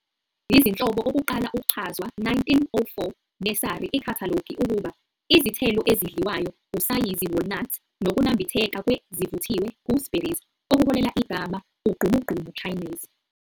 Izinhlobo okuqala uchazwa 1904 nursery ikhathalogi ukuba 'izithelo ezidliwayo usayizi walnuts, nokunambitheka kwe ezivuthiwe gooseberries ", okuholela igama "ugqumugqumu Chinese."